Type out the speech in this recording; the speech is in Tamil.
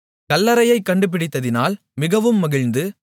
கல்லறையைக் கண்டுபிடித்ததினால் மிகவும் மகிழ்ந்து